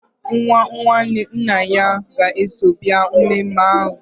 Nwa nwanne nna ya ga-eso bịa mmemme ahụ.